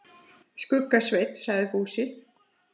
Skugga-Svein, sagði Fúsi.